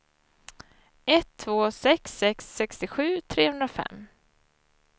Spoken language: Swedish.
ett två sex sex sextiosju trehundrafem